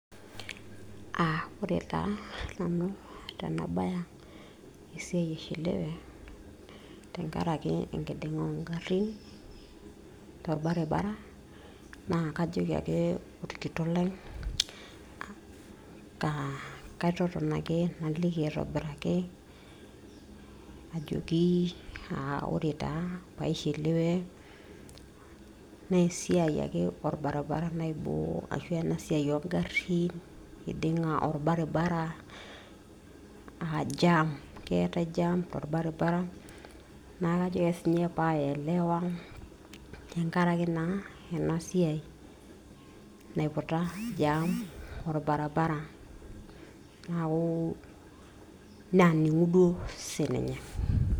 Aa ore taa nanu tenabaya esiai aishiliwe tenkaraki enkidinga ongarin torbaribara tenkaraki enkidinga oongarin , naa kajoki ake orkitok lai kaa kaitoton ake naliki aitobiraki ajoki aa ore taa paishiliwe nee esiai ake orbaribara naaiboo ashua ena siai ongarin ,kidinga orbaribara aa jam. keeta jam torbaribara neaku kajoki ake sinye paelewa tenkaraki naa ena siai naiputa jam orbarabara , naku naaningu duo sininye